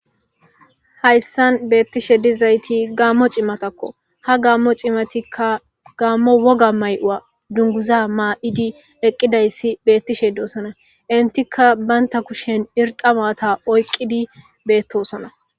Hayssan beettishe dizayti gaammo cimatakko ha gaammo cimatikka gaammo woga may7u7a dunguza maa7idi eqqidayssi beettishe doosona intika baynta kushen irxamata oyqqidi beettosona.